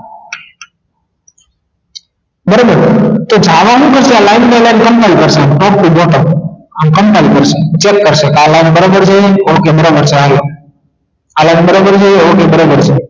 બરોબર તો જાવા શું કરશે આ line to line combine કરશે આમ top to bottom આમ combine કરશે check કરશે આ line બરોબર છે okay બરોબર છે હાલોઆ આ line બરોબર છે okay બરોબર છે